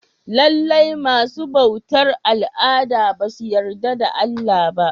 Lallai masu bautar al'ada basu yarda da Allah ba.